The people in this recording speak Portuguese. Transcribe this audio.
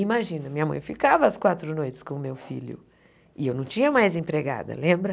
Imagina, minha mãe ficava as quatro noites com o meu filho e eu não tinha mais empregada, lembra?